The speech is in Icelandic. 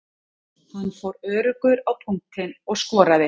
Hann fór öruggur á punktinn og skoraði.